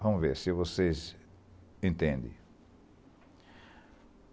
Vamo ver, se vocês entendem.